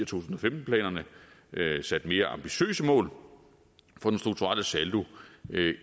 tusind og femten planerne sat mere ambitiøse mål for den strukturelle saldo